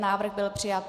Návrh byl přijat.